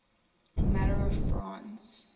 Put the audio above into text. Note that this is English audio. matter of france